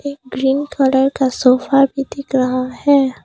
एक green colour का sofa भी दिख रहा है।